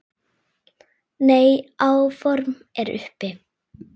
Nei, áform eru uppi